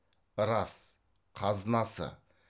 рас қазынасы